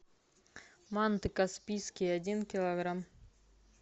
манты каспийские один килограмм